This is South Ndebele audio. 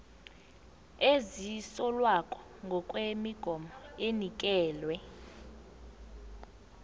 ezisolwako ngokwemigomo enikelwe